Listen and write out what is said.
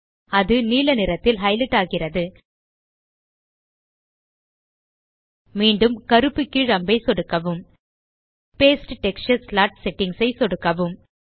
அது நீல நிறத்தில் ஹைலைட் ஆகிறது மீண்டும் கருப்பு கீழ் அம்பை சொடுக்கவும் பாஸ்டே டெக்ஸ்சர் ஸ்லாட் செட்டிங்ஸ் ஐ சொடுக்கவும்